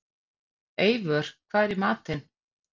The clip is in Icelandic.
Eivör, hvað er í matinn?